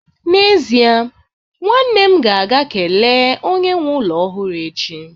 n'ezie, nwanne m ga-aga kelee onye nwe ụlọ ọhụrụ echi